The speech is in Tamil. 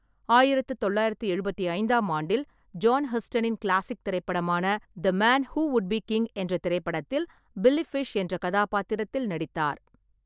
ஆயிரத்து தொள்ளாயிரத்தி எழுபத்தி ஐந்து ஆண்டில், ஜான் ஹஸ்டனின் கிளாசிக் திரைப்படமான the man who would be king என்ற திரைப்படத்தில் பில்லி ஃபிஷ் என்ற கதாபாத்திரத்தில் நடித்தார்.